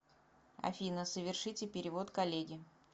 афина совершите перевод коллеге